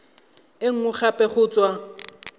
e nngwe gape go tswa